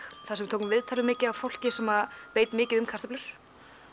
þar sem við tókum viðtal við mikið af fólki sem veit mikið um kartöflur